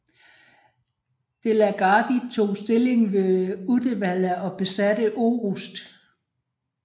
De la Gardie tog stilling ved Uddevalla og besatte Orust